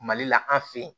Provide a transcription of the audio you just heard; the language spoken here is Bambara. Mali la an fe yen